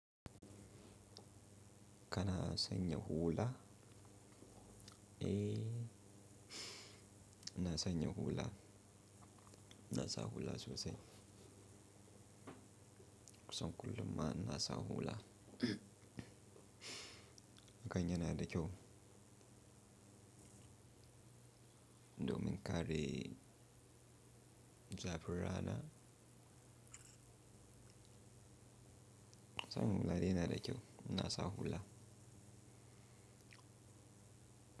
Kana sanya hula? Eh, ina sanya hula. Inasa hula sosai. Kusan kullum ma ina sa hula. Hakan yana da kyau. Domin kare zafin rana. Sa hula dai yanada kyau. Ina sa hula.